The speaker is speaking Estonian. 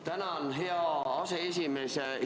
Tänan, hea aseesimees!